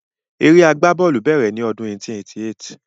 Eré agbá bọ́ọ̀lù bèrè ni ọdún 1888